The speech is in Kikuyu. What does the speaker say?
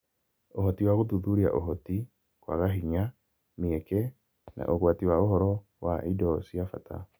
Ũhoti wa gũthuthuria Ũhoti, kwaga hinya, mĩeke, na ũgwati wa ũhoro wa indo cia bata.